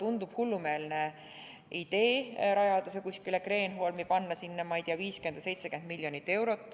Tundub hullumeelne idee rajada see kuskile Kreenholmi, panna sinna, ma ei tea, 50 või 70 miljonit eurot.